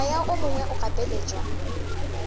moya o mongwe o gapeletšwa